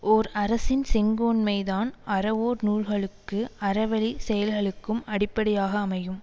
ஓர் அரசின் செங்கோன்மைதான் அறவோர் நூல்களுக்கு அறவழிச் செயல்களுக்கும் அடிப்படையாக அமையும்